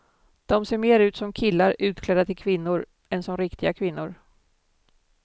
De ser mer ut som killar utklädda till kvinnor, än som riktiga kvinnor.